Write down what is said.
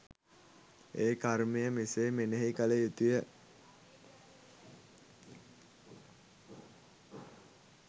ඒ කර්මය මෙසේ මෙනෙහි කළ යුතුය.